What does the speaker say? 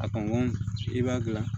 A kɔn i b'a gilan